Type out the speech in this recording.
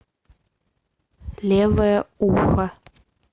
левое ухо